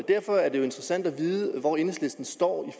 derfor er det jo interessant at vide hvor enhedslisten står